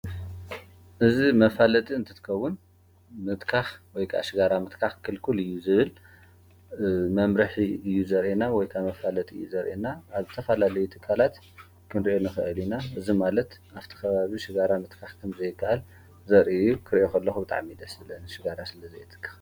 እዝ መፋለጥ እንትትከቡን ምትካኽ ወይ ሥጋራ ምትካኽ ክልኩል እዩ ዝብል መምርኅ እዩ ዘርኤና ወይካ መፋለጥ እዩ ዘርኤና ኣተፋላለይ ትካላት ድንርኤኒኽአሊና እዝ ማለት ኣብቲ ኸባብ ሥጋራ ምትካኽ ከም ዘይቃኣል ዘርዩ ክርእኹሎኹ ብጣዕ ሚደ ስለን ሽጋራ ስለ ዘየትካኽ